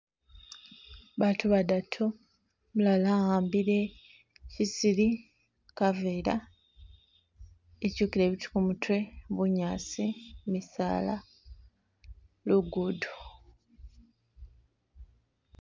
Baatu badatu umulala a'ambile shisili, kaveera , ityukiile biitu kumutwe , bunyaasi , misaala, luguudo.